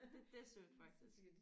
Det det er sødt faktisk